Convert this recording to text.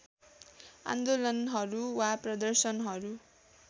आन्दोलनहरू वा प्रदर्शनहरू